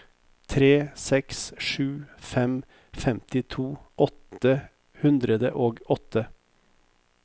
tre seks sju fem femtito åtte hundre og åtte